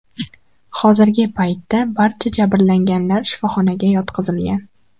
Hozirgi paytda barcha jabrlanganlar shifoxonaga yotqizilgan.